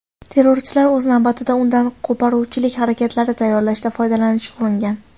Terrorchilar, o‘z navbatida, undan qo‘poruvchilik harakatlari tayyorlashda foydalanishga uringan.